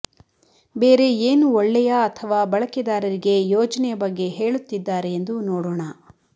ಬೇರೆ ಏನು ಒಳ್ಳೆಯ ಅಥವಾ ಬಳಕೆದಾರರಿಗೆ ಯೋಜನೆಯ ಬಗ್ಗೆ ಹೇಳುತ್ತಿದ್ದಾರೆ ಎಂದು ನೋಡೋಣ